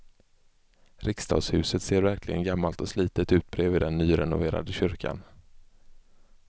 Riksdagshuset ser verkligen gammalt och slitet ut bredvid den nyrenoverade kyrkan.